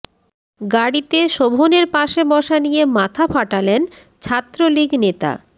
গাড়িতে শোভনের পাশে বসা নিয়ে মাথা ফাটালেন ছাত্রলীগ নেতা